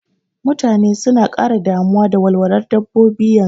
Mutane suna ƙara damuwa da walwalar dabbobi yanzu